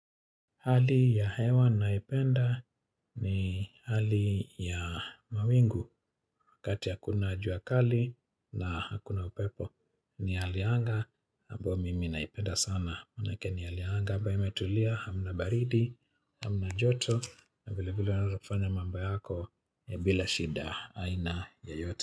Hali ya hewa naipenda ni hali ya mawingu wakati hakuna jua kali na hakuna upepo. Ni hali ya anga ambao mimi naipenda sana. Maanake ni hali ya anga ambayo imetulia hamna baridi, hamna joto na vile vile unaweza kufanya mambo yako bila shida aina yoyote.